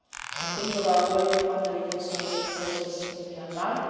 I think of our work on the reconciliation process in Myanmar.